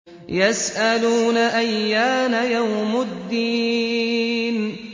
يَسْأَلُونَ أَيَّانَ يَوْمُ الدِّينِ